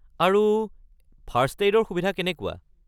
আৰু ফাৰ্ষ্ট-এইডৰ সুবিধা কেনেকুৱা?